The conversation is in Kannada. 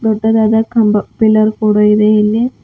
ದೊಡ್ಡದಾದ ಕಂಬ ಪಿಲ್ಲರ್ ಕೂಡ ಇದೆ ಇಲ್ಲಿ.